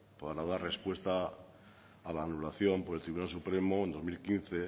para dar respuesta a la anulación por el tribunal supremo dos mil quince